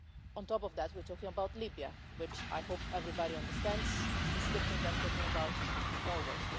On top of that, we are talking about Libya, which I hope everybody understands is different to talking about Norway.